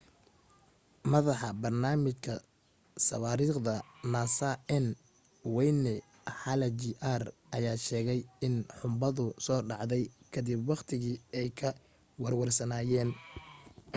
madaxa barnaamijka sawaariikhda nasa n wayne hale jr ayaa sheegay in xunbadu soo dhacday ka dib waqtigii ay ka warwarsanaayeen